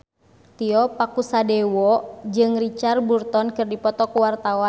Tio Pakusadewo jeung Richard Burton keur dipoto ku wartawan